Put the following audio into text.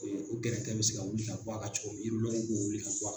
O gɛrɛtɛ bɛ se ka wuli ka bɔ a ka cogo min de b'o wuli ka bɔ a